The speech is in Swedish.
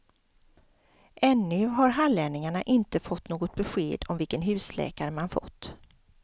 Ännu har hallänningarna inte fått något besked om vilken husläkare man fått.